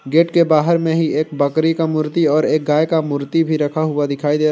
gate के बाहर में ही एक बकरी का मूर्ति और एक गाय का मूर्ति भी रखा हुआ दिखाई दे--